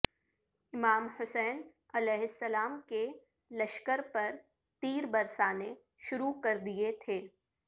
امام حسین علیہ السلام کے لشکر پر تیر برسانے شروع کر دیے تھے